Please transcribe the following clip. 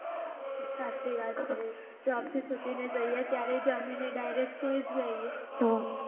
સાચી વાત છે job થી છુટીને તો ક્યારે જમીને direct સુઈ જઈએ